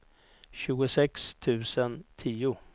tjugosex tusen tio